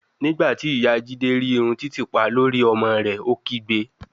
Nigbati iya jide ri irun titipa lori ori ọmọ rẹ, o kigbe